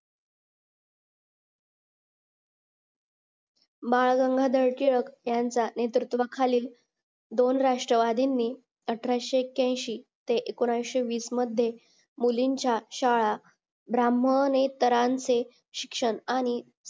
बाळ गंगाधर टिळक यांचा नेतृत्वा खालील दोन राष्ट्रवादीनी अठराशे एक्यांशी ते एकोणऐंशी वीस मध्ये मुलींच्या शाळा ब्राह्मण हे तरांचे शिक्षण आणि